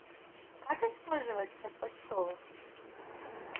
как использовать как почтовых